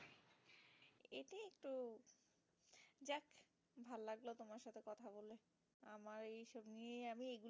নিয়ে আমি